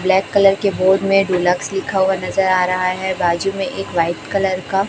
black colour के board में deluxe लिखा हुआ नजर आ रहा हैं बाजू में एक व्हाइट कलर का--